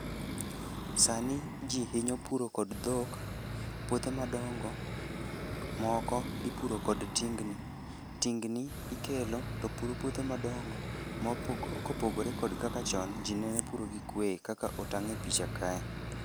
Sani ji hinyo puro kod dhok, puothe madongo moko ipuro kod tingni. Tingni ikelo to puro puothe madongo kopogore kod kaka chon ji ne puro gi kwe kaka otang' e picha ka.